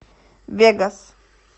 вегас